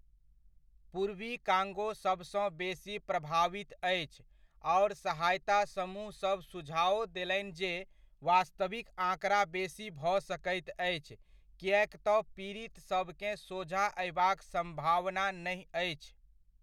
पूर्वी कांगो सबसँ बेसी प्रभावित अछि, आओर सहायता समूह सब सुझाओ देलनि जे वास्तविक आँकड़ा बेसी भऽ सकैत अछि किएक तँ पीड़ित सभकेँ सोझाँ अयबाक सम्भावना नहि अछि।